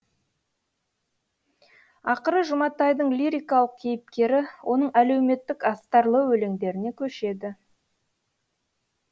ақыры жұматайдың лирикалық кейіпкері оның әлеуметтік астарлы өлеңдеріне көшеді